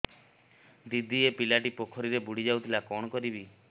ଦିଦି ଏ ପିଲାଟି ପୋଖରୀରେ ବୁଡ଼ି ଯାଉଥିଲା କଣ କରିବି